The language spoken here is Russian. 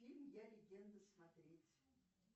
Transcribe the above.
фильм я легенда смотреть